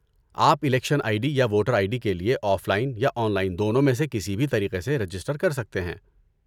آپ election I D یا voter I D کے لیے آف لائن یا آن لائن دونوں میں سے کسی بھی طریقے سے رجسٹر کر سکتے ہیں۔